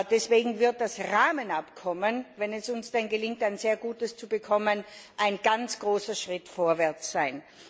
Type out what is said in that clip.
Deswegen wird das Rahmenabkommen wenn es uns denn gelingt, ein sehr gutes zu bekommen ein ganz großer Schritt vorwärts sein.